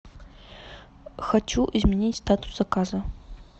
хочу изменить статус заказа